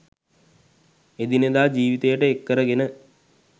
එදිනෙදා ජීවිතයට එක්කරගෙන